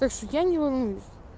так что я не волнуюсь